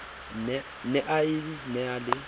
ne a e na le